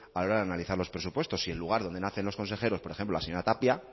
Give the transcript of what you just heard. a la hora de analizar los presupuestos si el lugar donde nacen los consejeros por ejemplo la señora tapia